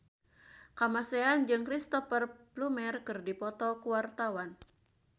Kamasean jeung Cristhoper Plumer keur dipoto ku wartawan